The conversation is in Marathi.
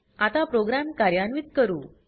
आता प्रोग्राम कार्यान्वित करू